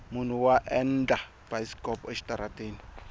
munhu wa endla bayisikopo exitarateni